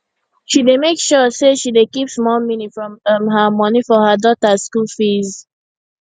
she dey make sure say she dey keep small mini from um her moni for her daughter school fees